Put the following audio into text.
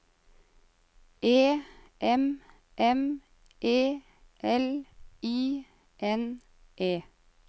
E M M E L I N E